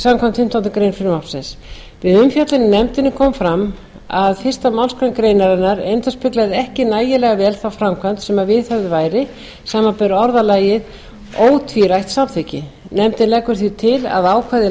samkvæmt fimmtándu greinar frumvarpsins við umfjöllun í nefndinni kom fram að fyrstu málsgrein greinarinnar endurspeglaði ekki nægilega vel þá framkvæmd sem viðhöfð væri samanber orðalagið ótvírætt samþykki nefndin leggur því til að ákvæði laga